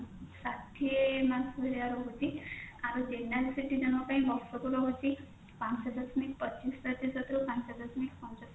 ଷାଠିଏ ମାସ ଭଳିଆ ରହୁଛି ଆଉ general citizen ଙ୍କ ପାଇଁ ବର୍ଷକୁ ରହୁଛି ପାଞ୍ଚ ଦଶମିକ ପଚିଶ ପ୍ରତିଶତ ରୁ ପାଞ୍ଚ ଦଶମିକ ପଞ୍ଚସ୍ତରି